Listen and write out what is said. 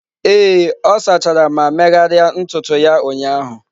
Ee, ọ sachara ma megharịa ntutu ya ụnyahụ